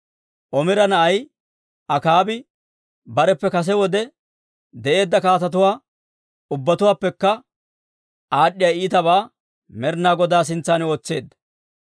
Omira na'ay Akaabi bareppe kase wode de'eedda kaatetuwaa ubbatuwaappekka aad'd'iyaa iitabaa Med'inaa Godaa sintsan ootseedda.